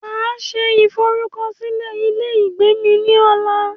Máa se ìforúkọsílẹ ilé ìgbé mí ní ọ̀la